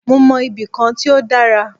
Mó mọ ibì kan tí o dára.